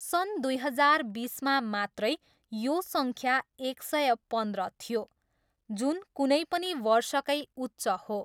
सन् दुई हजार बिसमा मात्रै यो सङ्ख्या एक सय पन्ध्र थियो, जुन कुनै पनि वर्षकै उच्च हो।